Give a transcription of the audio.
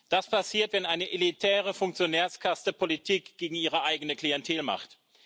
Das passiert, wenn eine elitäre Funktionärskaste Politik gegen ihre eigene Klientel macht.